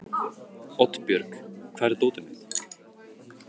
Oddbjörg, hvar er dótið mitt?